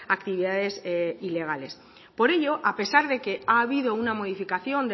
actividades ilegales por ello a pesar de que ha habido una modificación